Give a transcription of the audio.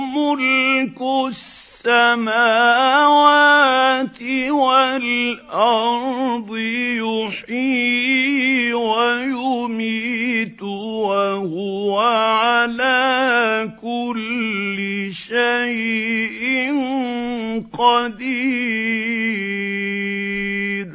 مُلْكُ السَّمَاوَاتِ وَالْأَرْضِ ۖ يُحْيِي وَيُمِيتُ ۖ وَهُوَ عَلَىٰ كُلِّ شَيْءٍ قَدِيرٌ